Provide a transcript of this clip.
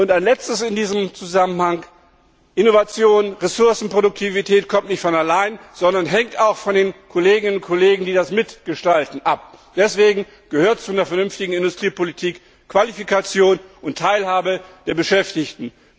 Ein Letztes in diesem Zusammenhang Innovation und Ressourcenproduktivität kommen nicht von allein, sondern hängen auch von den Kolleginnen und Kollegen, die das mitgestalten, ab. Deswegen gehört zu einer vernünftigen Industriepolitik Qualifikation und Teilhabe der Beschäftigten.